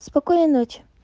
спокойной ночи